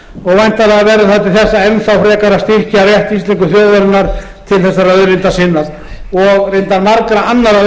þess enn þá frekar að styrkja rétt íslensku þjóðarinnar til þessarar auðlindar sinnar og reyndar margra annarra